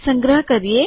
સંગ્રહ કરીએ